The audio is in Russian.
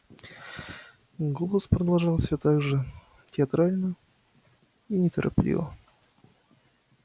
голос продолжал всё так же театрально и неторопливо